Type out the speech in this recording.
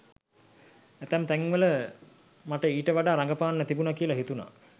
ඇතැම් තැන්වල මට ඊට වඩා රඟපාන්න තිබුණා කියලා හිතුණා.